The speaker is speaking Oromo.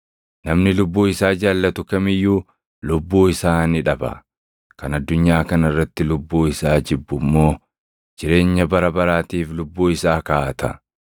Namni lubbuu isaa jaallatu kam iyyuu lubbuu isaa ni dhaba; kan addunyaa kana irratti lubbuu isaa jibbu immoo jireenya bara baraatiif lubbuu isaa kaaʼata.